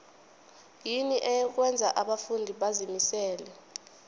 yini okwenza abafundi bazimisele